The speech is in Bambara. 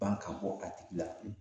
Ban ka bɔ a tigi la.